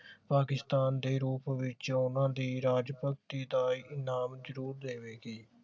ਪਾਕਿਸਤਾਨ ਦੇ ਰੂਪ ਵਿਚ ਓਹਨਾ ਦੀ ਰਾਜਗੱਧੀ ਦਾ ਇਨਾਮ ਜਰੂਰ ਦੇਵੇਗੀ